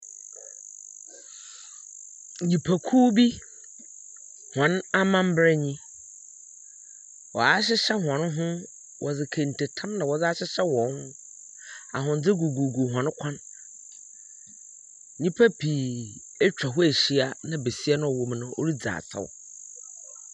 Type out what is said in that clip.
Nyimpakuw bi hɔn amamber nyi. Wɔahyehyɛ wɔn ho wɔdze kente tam na wɔdze ahyehyɛ hɔn ho. Ahwendze gugu hɔn kɔ. Nyimpa pii etwa hɔ ahyia na besi no a ɔwɔ mu no, ɔridze asaw.